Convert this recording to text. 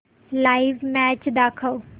live match दाखव